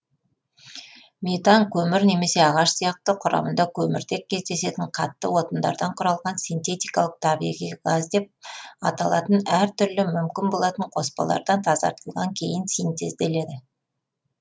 метан көмір немесе ағаш сияқты құрамында көміртек кездесетін қатты отындардан құралған синтетикалық табиғи газ деп аталатын әр түрлі мүмкін болатын қоспалардан тазартылған кейін синтезделеді